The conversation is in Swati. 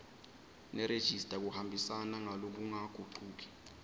nerejista kuhambisana ngalokungagucuki